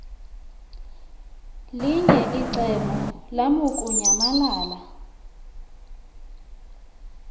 linye icebo lamukunyamalala